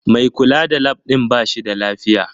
Mai kula da Lab din ba shi da lafiya